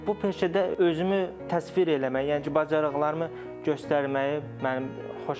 Bu peşədə özümü təsvir eləmək, yəni ki, bacarıqlarımı göstərməyi mənə xoşuma gəldi.